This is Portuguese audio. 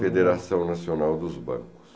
Federação Nacional dos Bancos.